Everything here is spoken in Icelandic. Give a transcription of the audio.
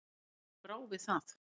Mér brá við það.